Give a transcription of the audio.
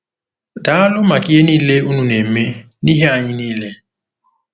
“Daalụ maka ihe niile unu na-eme n’ihi anyị niile.